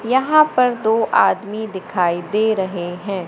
यहां पर दो आदमी दिखाई दे रहे हैं।